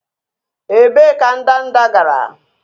Ebee ka ndanda gara?